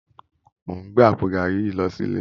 Mó n gbé àpó gàrí yi lò silé